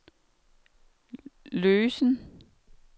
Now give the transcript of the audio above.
løsen